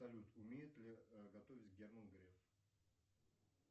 салют умеет ли готовить герман греф